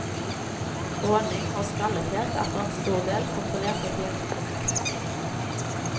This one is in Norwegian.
Gråning og skallethet er for en stor del kontrollert av genene.